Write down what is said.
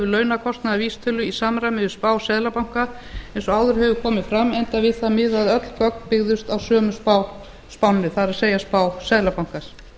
launakostnaðarvísitölu í samræmi við spá seðlabanka eins og áður hefur komið fram enda við það miðað að öll gögn byggðust á sömu spánni það er spá seðlabankans